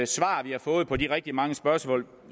svar vi har fået på de rigtig mange spørgsmål